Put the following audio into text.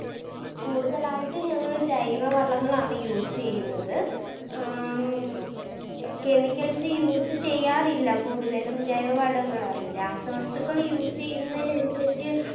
കൂടുതലായിട്ട് ഞങ്ങൾ ജൈവവളങ്ങളാണ് Use ചെയ്യുന്നത് അഹ് Chemicals use ചെയ്യാറില്ല കൂടുതലും ജൈവവളങ്ങളാണ് രാസവസ്തുക്കൾ Use ചെയ്യുന്നതിനനുസരിച്ച്